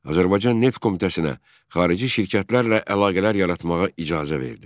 Azərbaycan Neft Komitəsinə xarici şirkətlərlə əlaqələr yaratmağa icazə verdi.